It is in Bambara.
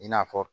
I n'a fɔ